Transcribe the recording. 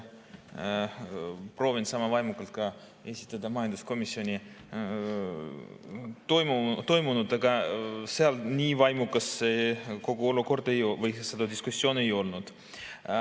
Proovin sama vaimukalt esitada ka majanduskomisjonis toimunut, aga seal nii vaimukas kogu olukord või see diskussioon ei olnud.